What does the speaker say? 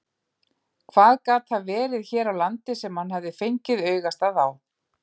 Hvað gat það verið hér á landi sem hann hafði fengið augastað á?